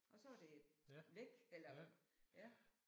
Og så er det væk eller ja